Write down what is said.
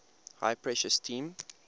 high pressure steam